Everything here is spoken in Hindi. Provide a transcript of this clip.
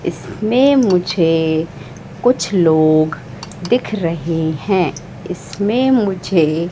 इसमें मुझे कुछ लोग दिख रहे हैं इसमें मुझे--